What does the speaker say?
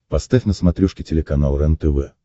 поставь на смотрешке телеканал рентв